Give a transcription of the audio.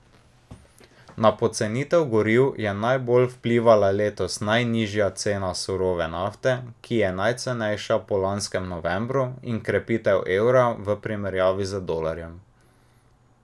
Na pocenitev goriv je najbolj vplivala letos najnižja cena surove nafte, ki je najcenejša po lanskem novembru, in krepitev evra v primerjavi z dolarjem.